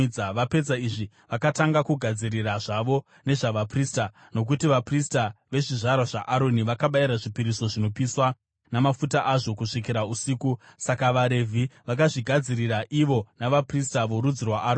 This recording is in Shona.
Vapedza izvi, vakatanga kugadzirira zvavo nezvavaprista, nokuti vaprista vezvizvarwa zvaAroni vakabayira zvipiriso zvinopiswa namafuta azvo kusvikira usiku. Saka vaRevhi vakazvigadzirira ivo navaprista vorudzi rwaAroni.